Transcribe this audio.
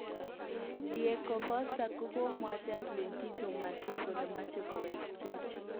Diego Costa kogomwochi Atletico Madrid kole moche kowek Spain.